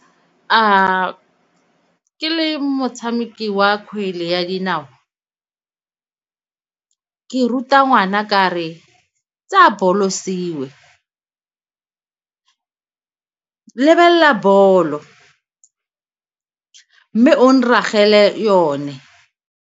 A ke le motshameki wa kgwele ya dinao, ke ruta ngwana ka re tseya bolo siwe, lebelela bolo mme o nragele yone.